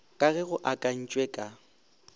ka ge go akantšwe ka